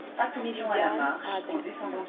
меридиан адрес